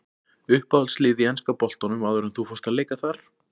Uppáhaldslið í enska boltanum áður en að þú fórst að leika þar?